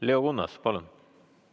Leo Kunnas, palun!